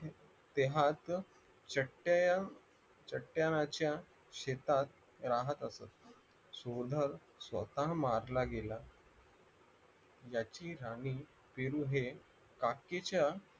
पेहाचं चेताय चेताहाच्या शेतात राहत असत सोनं सोता मारला गेला याची आम्ही पेरू हे काकीच्या